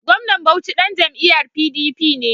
Gwamnan Bauchi ɗan jam'iyyar PDP ne.